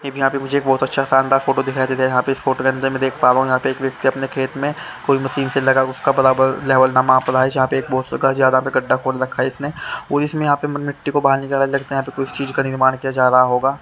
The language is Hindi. एक यहां पे मुझे बहोत अच्छा शानदार फोटो दिखाई दे रहा है यहां पे इस फोटो के अंदर में देख पा रहा हु एक व्यक्ति अपने खेत में कोई मशीन से लगा उसका बराबर लेवल माप रहा है जहां पे गड्ढा खोद रखा है इसने और इसमें यहां पे मिट्टी को बाहर निकाला लगता है यहां पर किसी चीज का निर्माण किया जा रहा होगा।